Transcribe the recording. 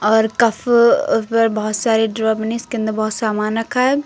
और बहोत सारे के अंदर बहोत सारा सामान रखा है।